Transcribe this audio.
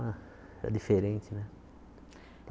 Era diferente, né?